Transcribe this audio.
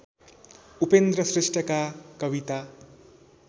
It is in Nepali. उपेन्द्र श्रेष्ठका कविता